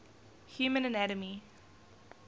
human anatomy